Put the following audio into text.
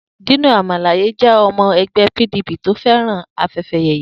Dino Melaye jẹ́ ọmọ ẹgbẹ́ PDP tó fẹ́ràn afẹ́yẹyẹ.